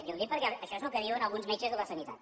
jo ho dic perquè això és el que diuen alguns metges de la sanitat